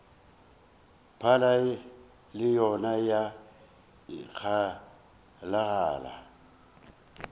phala le yona ya ikgalagala